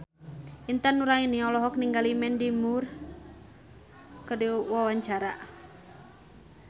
Intan Nuraini olohok ningali Mandy Moore keur diwawancara